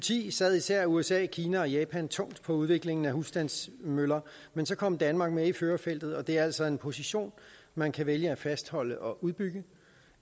ti sad især usa kina og japan tungt på udviklingen af husstandsmøller men så kom danmark med i førerfeltet og det er altså en position man kan vælge at fastholde og udbygge